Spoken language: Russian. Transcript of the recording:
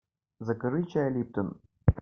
закажи чай липтон